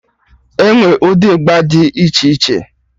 Enwee ụdị ịgba dị iche iche